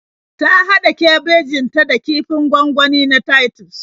Ta haɗa kabejin ta da kifin gwangwani na Titus